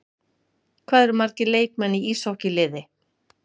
Hvað eru margir leikmenn í íshokkí-liði?